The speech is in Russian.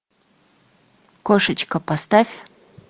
кошечка поставь